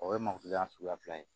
O ye matuya suguya fila ye